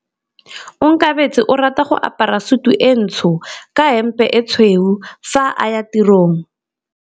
Onkabetse o rata go apara sutu e ntsho ka hempe e tshweu fa a ya tirong.